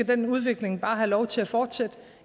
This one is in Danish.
den udvikling bare skal have lov til at fortsætte